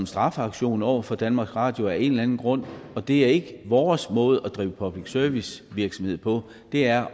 straffeaktion over for danmarks radio af en eller anden grund det er ikke vores måde at drive public service virksomhed på det er